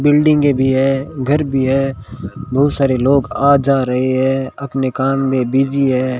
बिल्डिंगे भी है घर भी है बहुत सारे लोग आ जा रहे हैं अपने काम में बिजी है।